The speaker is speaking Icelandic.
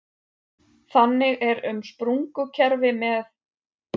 Þannig er um sprungukerfi með